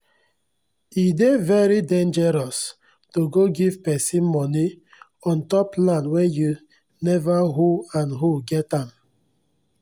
e dey very dengeros to go give pesin moni untop land wen u never who and who get am